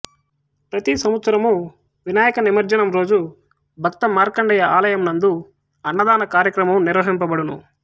ప్రతి సంవత్సరము వినాయక నిమజ్జనం రోజు భక్త మార్కండేయ ఆలయమునందు అన్నదాన కార్యక్రమము నిర్వహింపబడును